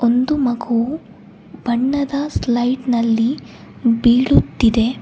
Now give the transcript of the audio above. ಒಂದು ಮಗು ಬಣ್ಣದ ಸ್ಲೈಟ್ ನಲ್ಲಿ ಬಿಳುತ್ತಿದೆ.